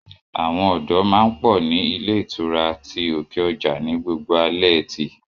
Àwọn ọ̀dọ́ má ń pọ̀ ní ilé ìtura ti òkè ọjà ni gbogbo alẹ́ ẹtì